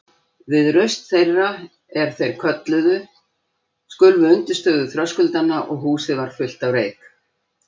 Við raust þeirra, er þeir kölluðu, skulfu undirstöður þröskuldanna og húsið varð fullt af reyk.